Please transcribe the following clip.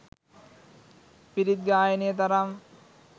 පිරිත් ගායනය තරම්